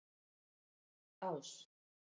Ás